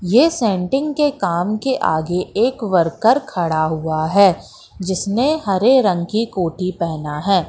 ये सेटिंग के काम के आगे एक वर्कर खड़ा हुआ है जिसने हरे रंग की कोठी पेहना है।